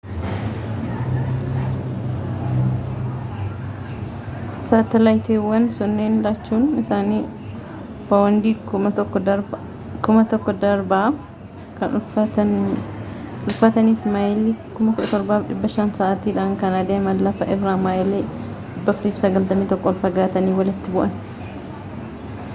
saatalaayitiwwan sunniin lachuun isaanii paawundii 1,000 darbaa kan ulfaatan fi maayilii 17,500 sa'aatiidhaan kan adeeman lafa irraa maayilii 491 ol fagaatanii walitti bu'an